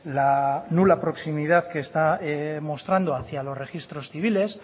la nula proximidad que está mostrando hacia los registros civiles